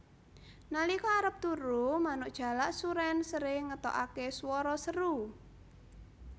Nalika arep turu manuk jalak surèn sering ngetokaké swara seru